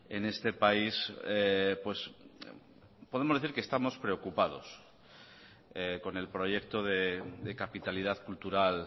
en este país podemos decir que estamos preocupados con el proyecto de capitalidad cultural